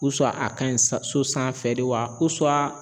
a ka ɲi sa so sanfɛ de wa